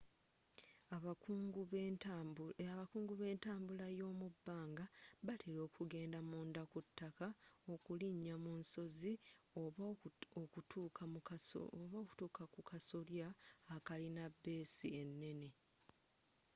abakungu be ntambbula y'omubbanga batela okugenda munda ku taaka okulinya mu nsozi oba okutuka ku kasolya akalina beessi enene